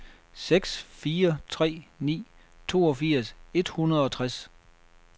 seks fire tre ni toogfirs et hundrede og tres